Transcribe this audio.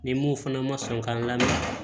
Ni mun fana ma sɔn ka lamɛn